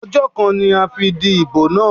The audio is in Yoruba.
Ọjọ́ kan ni a fi dìbò náà.